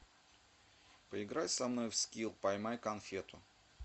поиграй со мной в скил поймай конфету